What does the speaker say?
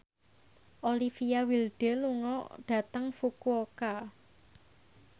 Olivia Wilde lunga dhateng Fukuoka